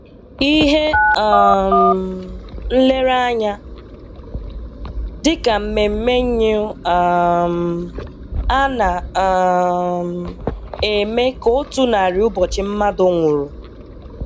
Íhè um Nlereànya dị ka mmèmmè Nyìú um ana um eme ka ọ́tụ̀ narị ụbọchị mmadụ nwụrụ.